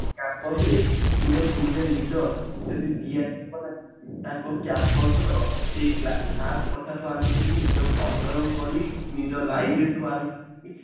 Campus ରେ ଗୋଟେ student leader ତାଙ୍କ Campus ର ସେଇ class କଥା ଠୁ ଆରମ୍ଭ କରିକି ନିଜ ଅଞ୍ଚଳ ଲୋକ ବି ନିଜ ଆରମ୍ଭ କରି